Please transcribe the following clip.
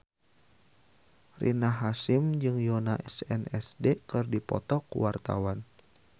Rina Hasyim jeung Yoona SNSD keur dipoto ku wartawan